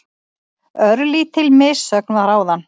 Örlítil missögn var áðan.